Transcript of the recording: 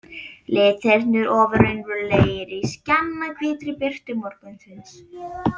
Litirnir ofur raunverulegir í skjannahvítri birtu morgunsins.